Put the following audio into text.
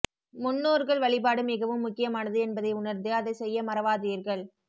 முன்னோர்கள் வழிபாடு மிகவும் முக்கியமானது என்பதை உணர்ந்து அதை செய்ய மறவாதீர்கள்